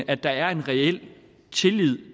at der er en reel tillid